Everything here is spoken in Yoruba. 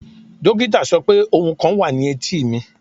Dokita sọ pe ohun kan wa ni eti mi